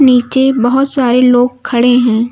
नीचे बहोत सारे लोग खड़े हैं।